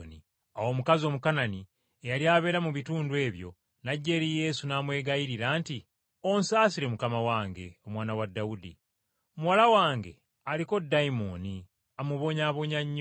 Awo omukazi Omukanani eyali abeera mu bitundu ebyo, n’ajja eri Yesu n’amwegayirira nti, “Onsaasire Mukama wange, Omwana wa Dawudi! Muwala wange aliko dayimooni amubonyaabonya nnyo.”